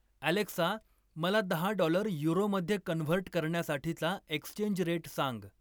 Alexa मला दहा dollar युरोमध्ये कन्व्हर्ट करण्यासाठीचा एक्स्चेंज रेट सांग